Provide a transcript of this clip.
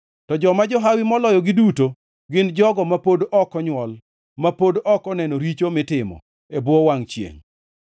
To joma johawi moloyogi duto, gin jogo ma pod ok onywol, ma pod ok oneno richo mitimo e bwo wangʼ chiengʼ.